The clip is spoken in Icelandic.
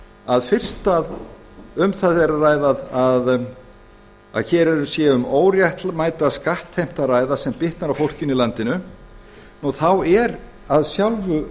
að fyrst að um það er að ræða að hér sé um óréttmæta skattheimtu að ræða sem bitnar á fólkinu í landinu þá af sjálfu